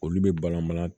Olu bɛ balan balan